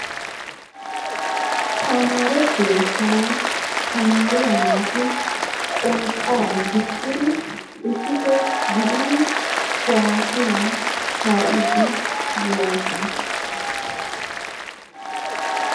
Tamaare keettan tamaariya naati qonxxaa gixxiri issippe gidiri kuwaasiyaa kaa'iidde de'oosona.